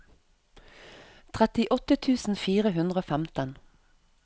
trettiåtte tusen fire hundre og femten